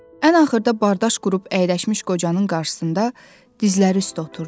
Ən axırda bardaş qurub əyləşmiş qocanın qarşısında dizləri üstə oturdu.